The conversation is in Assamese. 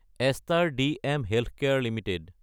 Astor DM healthcare Ltd